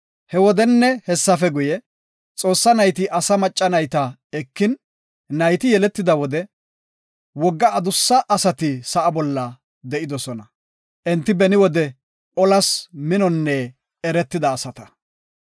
He wodenne hessafe guye, Xoossa nayti asa macca nayta ekin, nayti yeletida wode, wogga adussa asati sa7a bolla de7idosona. Enti beni wode olas minonne eretida asata.